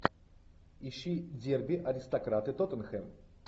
ищи дерби аристократы тоттенхэм